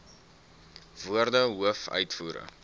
woorde hoof uitvoerende